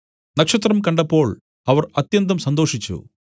നക്ഷത്രം കണ്ടപ്പോൾ അവർ അത്യന്തം സന്തോഷിച്ചു